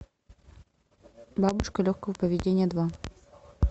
бабушка легкого поведения два